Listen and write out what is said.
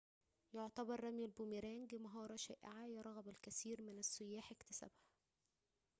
يعتبر رمي البوميرانغ مهارةً شائعةً يرغب الكثير من السيّاح اكتسابها